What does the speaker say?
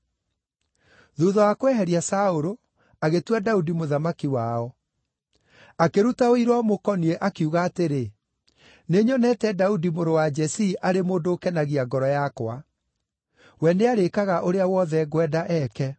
Thuutha wa kweheria Saũlũ, agĩtua Daudi mũthamaki wao. Akĩruta ũira ũmũkoniĩ, akiuga atĩrĩ, ‘Nĩnyonete Daudi mũrũ wa Jesii arĩ mũndũ ũkenagia ngoro yakwa; we nĩarĩĩkaga ũrĩa wothe ngwenda eke.’